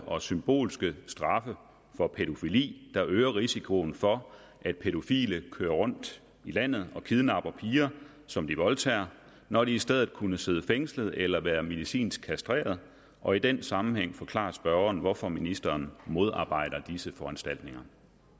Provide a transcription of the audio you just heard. og symbolske straffe for pædofili der øger risikoen for at pædofile kører rundt i landet og kidnapper piger som de voldtager når de i stedet kunne sidde fængslet eller være medicinsk kastreret og i den sammenhæng forklare spørgeren hvorfor ministeren modarbejder disse foranstaltninger